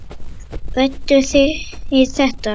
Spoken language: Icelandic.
Ræddu þið þetta?